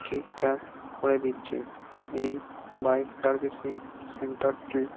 ঠিকঠাক করে দিচ্ছে এই বাইক সার্ভিসিং সেন্টার -টি --